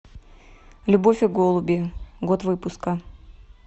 любовь и голуби год выпуска